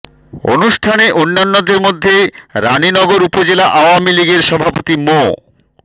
অনুষ্ঠানে অন্যান্যের মধ্যে রানীনগর উপজেলা আওয়ামী লীগের সভাপতি মো